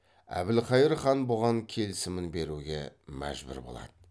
әбілқайыр хан бұған келімін беруге мәжбүр болады